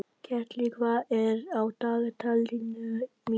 Ketill, hvað er á dagatalinu mínu í dag?